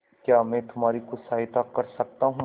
क्या मैं तुम्हारी कुछ सहायता कर सकता हूं